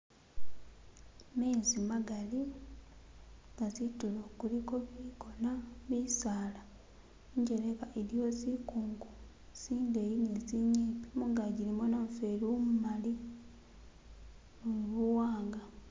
Mezi magali nga zitulo kuliko bikona, bisala injeleka iliyo zikungu, tsindeyi ne tsinyimpi mungaji mulimo namufeli umumali ni buwanga